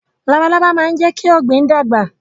Labalábá máa ń jẹ́ kí ọ̀gbìn dàgbà